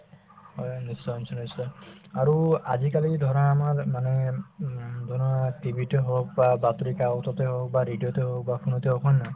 হয়, নিশ্চয় নিশ্চয় নিশ্চয় আৰু আজিকালি ধৰা আমাৰ মানে উম ধৰা TV তে হওক বা বাতৰি কাকতে হওক বা radio তে হওক বা phone তে হওক হয় নে নহয়